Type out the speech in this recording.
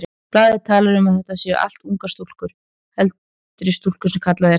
Blaðið talar um að þetta séu allt ungar stúlkur, heldri stúlkur sem kallað er.